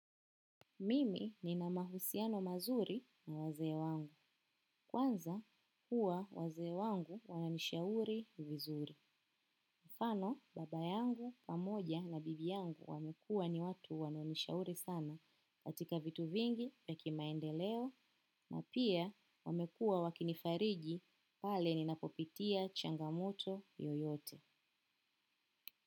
Mimi nina mahusiano mazuri na wazee wangu. Kwanza huwa wazee wangu wananishauri vizuri. Mfano baba yangu, pamoja na bibi yangu wamekua ni watu wananishauri sana katika vitu vingi ya kimaendeleo pia huwa wakinifariji pale ninapopitia changamoto yoyote.